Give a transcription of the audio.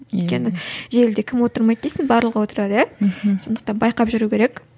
өйткені желіде кім отырмайды дейсің барлығы отырады иә мхм сондықтан байқап жүру керек